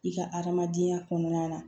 I ka adamadenya kɔnɔna na